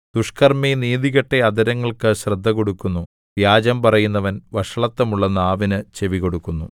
ദുഷ്ക്കർമ്മി നീതികെട്ട അധരങ്ങൾക്ക് ശ്രദ്ധകൊടുക്കുന്നു വ്യാജം പറയുന്നവൻ വഷളത്തമുള്ള നാവിന് ചെവികൊടുക്കുന്നു